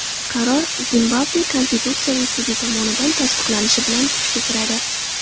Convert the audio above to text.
Qaror Zimbabve Konstitutsiyaviy sudi tomonidan tasdiqlanishi bilan, kuchga kiradi.